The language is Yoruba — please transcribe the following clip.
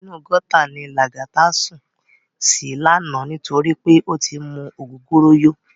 Inú gòtá ni Lagata sún si làná nitóri pé ó ti mú ógógóró yó